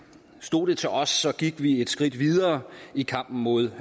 stod det til os gik vi et skridt videre i kampen mod